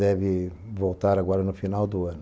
Deve voltar agora no final do ano.